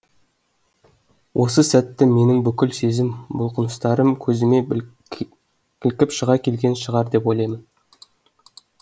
осы сәттегі менің бүкіл сезім бұлқыныстарым көзіме кілкіп шыға келген шығар деп ойлаймын